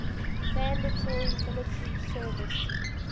mandatory military service